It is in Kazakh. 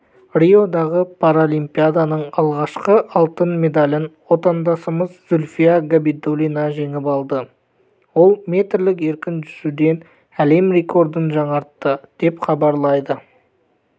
риодағы паралимпиаданың алғашқы алтын медалін отандасымыз зульфия габидуллина жеңіп алды ол метрлік еркін жүзуден әлем рекордын жаңартты деп хабарлайды